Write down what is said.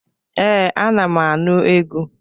Ee, anam anụ egwu.